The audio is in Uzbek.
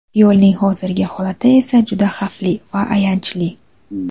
Yo‘lning hozirgi holati esa juda xavfli va ayanchli.